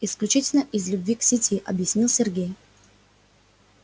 исключительно из любви к сети объяснил сергей